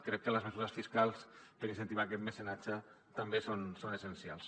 crec que les mesures fiscals per incentivar aquest mecenatge també són essencials